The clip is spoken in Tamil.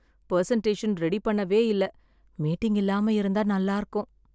பர்சன்டேஷன் ரெடி பண்ணவே இல்ல. மீட்டிங் இல்லாம இருந்தா நல்லா இருக்கும்